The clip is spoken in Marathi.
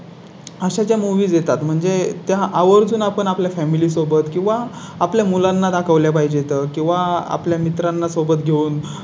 अशा जे मूव्ही देतात म्हणजे त्या आवर्जून आपण आपल्या Family सोबत किंवा आपल्या मुलांना दाखवल्या पाहिजेत किंवा आपल्या मित्रांना सोबत घेऊन